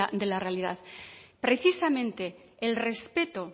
de la realidad precisamente el respeto